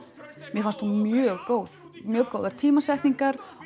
mér fannst hún mjög góð mjög góðar tímasetningar